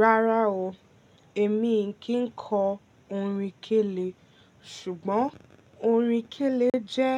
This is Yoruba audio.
Rárá o, èmi e kin kọ orin kẹ́lé, ṣùgbọ́n orin kẹ́lé jẹ́